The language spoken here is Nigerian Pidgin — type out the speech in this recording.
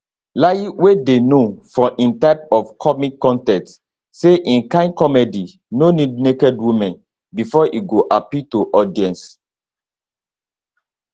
layi wey dey known for im type of comic con ten ts say im kain comedy no need naked women bifor e go appeal to audience